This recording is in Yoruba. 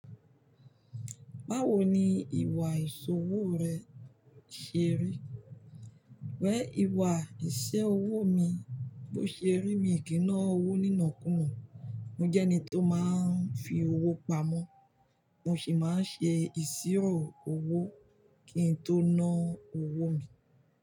Báwo ni ìwà ìṣòwò rẹ ṣe rí? Wẹ̀ ìwà ìṣe owó mi bó ṣe rí mi kì í ná owó nínàkú mò, mo jẹ́ ẹni tó máa ń fi owó pamọ́, mo sì máa ń ṣe ìṣirò owó kí n tó ná owó mi.